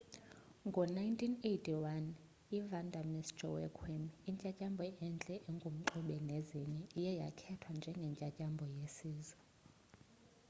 ngo-1981 ivanda miss joaquim intyantyambo entle engumxube nezinye iye yakhethwa njengentyantyambo yesizwe